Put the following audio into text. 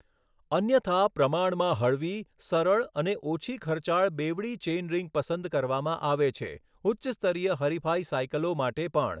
અન્યથા, પ્રમાણમાં હળવી, સરળ અને ઓછી ખર્ચાળ બેવડી ચેઇનરિંગ પસંદ કરવામાં આવે છે, ઉચ્ચ સ્તરીય હરિફાઇ સાઇકલો માટે પણ.